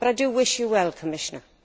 But I wish you well, Commissioner.